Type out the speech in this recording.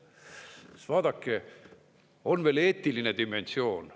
Sest vaadake, on veel eetiline dimensioon.